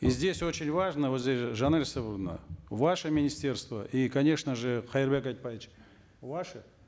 и здесь очень важно вот здесь жанель исагуловна ваше министерство и конечно же кайырбек айтбаевич ваше